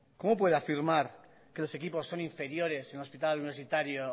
cómo puede afirmar que los equipos son inferiores en el hospital universitario